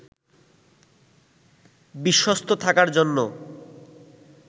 বিশ্বস্ত থাকার জন্য